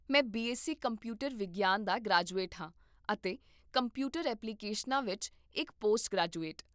ਮੈਂ BSc computer ਵਿਗਿਆਨ ਦਾ ਗ੍ਰੈਜੂਏਟ ਹਾਂ ਅਤੇ ਕੰਪਿਊਟਰ ਐਪਲੀਕੇਸ਼ਨਾਂ ਵਿੱਚ ਇੱਕ ਪੋਸਟ ਗ੍ਰੈਜੂਏਟ